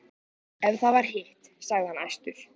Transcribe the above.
Ef það var hitt, sagði hann æstur: